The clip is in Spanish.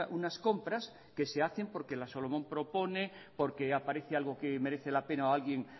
unas compras que se hacen porque la solomon propone porque aparece algo que merece la pena o alguien